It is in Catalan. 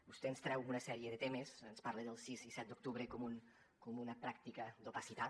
vostè ens treu una sèrie de temes ens parla del sis i set de setembre com una pràctica d’opacitat